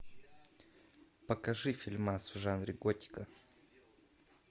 покажи фильмас в жанре готика